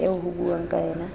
eo ho buuwang ka yena